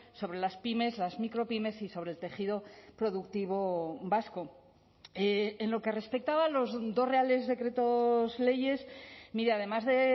sobre las pymes las micropymes y sobre el tejido productivo vasco en lo que respectaba a los dos reales decretos leyes mire además de